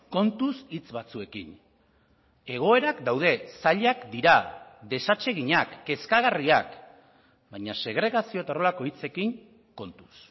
kontuz hitz batzuekin egoerak daude zailak dira desatseginak kezkagarriak baina segregazio eta horrelako hitzekin kontuz